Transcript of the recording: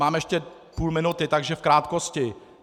Mám ještě půl minuty, takže v krátkosti.